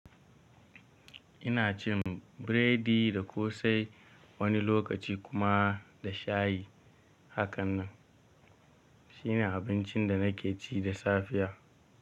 Ina cin biredi da ƙosai, wani lokaci kuma da shayi. Hakan nan, shine abincin da nake ci da safiya.